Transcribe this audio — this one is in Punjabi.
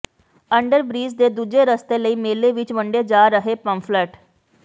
ਅੰਡਰਬ੍ਰਿਜ ਦੇ ਦੂਜੇ ਰਸਤੇ ਲਈ ਮੇਲੇ ਵਿਚ ਵੰਡੇ ਜਾ ਰਹੇ ਪੰਫਲੇਟ